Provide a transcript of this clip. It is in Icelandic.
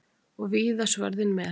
Og víða svörðinn með.